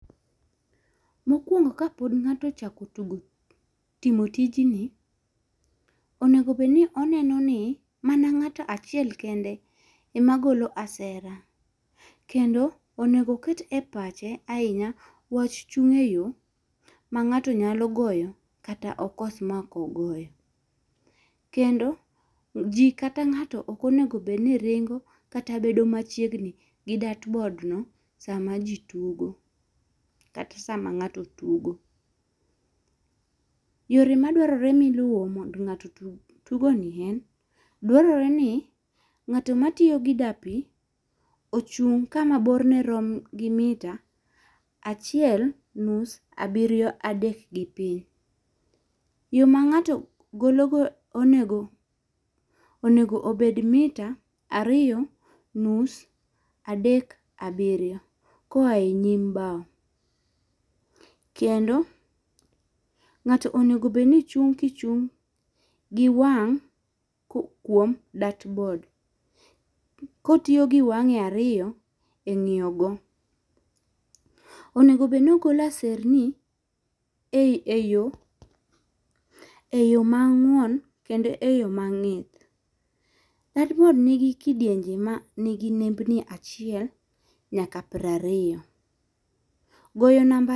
Mokuongo ka pod ng'ato ochako tugo timo tijni onego bed ni oneno ni mana ng'ato achiel kende ema golo asera kendo onego oket e pache ahinya wach chung' e yo ma ngato nyalo goyo kata okos ma ok ogoyo. Kendo ji kata ng'ato ok onego bed ni ringo kata bedo ma chiegni gi dirtboard no sa ma ji tugo kata sama ng'ato tugo. Yore ma dwarore mi iluwo mondo ng'ato otug tugoni en dwarore ni ng'ato ma tiyo gi da pi ochung' ka ma bor ne rom gi mita achiel nus abiriyo adek gi piny. Yo ma ng'ato golo go onego obed mita ariyo nus adek abirio ko oae e nyim kendo ng'ato onego bed ki ichung gi wang' kuom dirtboard ko otiyo gi wange ariyo e ngiyo go. onego bed ni ogolo aserni e yo e yo mang'won kendo e yo ma ng'ith. Dirtboard ma ni gi nembni achiel nyaka piero ariyo. Goyo namba.